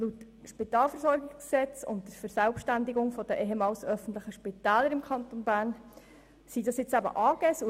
Aufgrund des Spitalversorgungsgesetzes (SpvG) und der Verselbstständigung der ehemals öffentlichen Spitäler im Kanton sind dies eben Aktiengesellschaften.